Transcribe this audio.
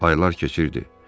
Aylar keçirdi.